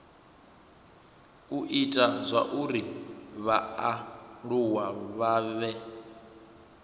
u ita zwauri vhaaluwa vhane